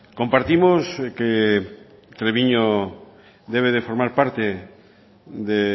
compartimos que treviño debe de formar parta de